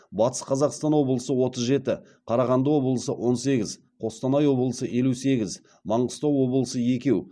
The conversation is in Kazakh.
батыс қазақстан облысы отыз жеті қарағанды облысы он сегіз қостанай облысы елу сегіз маңғыстау облысы екеу